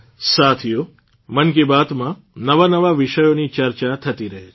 સાથીઓ મન કી બાતમાં નવાનવા વિષયોની ચર્ચા થતી રહે છે